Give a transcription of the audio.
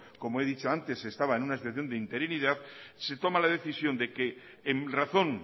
como he dicho antes estaba en una situación de interinidad se toma la decisión de que en razón